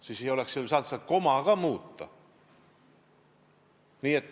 Siis ei oleks seal saanud ju komasid ka muuta.